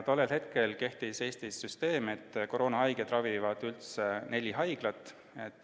Tollel hetkel kehtis Eestis süsteem, et koroonahaigeid ravib üldse neli haiglat.